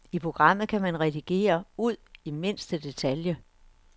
I programmet kan man redigere ud i mindste detalje.